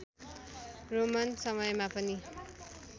Roman समयमा पनि